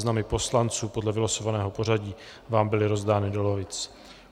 Seznamy poslanců podle vylosovaného pořadí vám byly rozdány do lavic.